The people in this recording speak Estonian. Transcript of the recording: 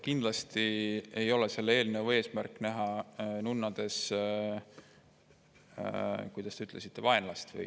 Kindlasti ei ole selle eelnõu eesmärk näha nunnades – kuidas te ütlesitegi?